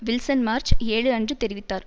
Wilson March ஏழுஅன்று தேறிவித்தார்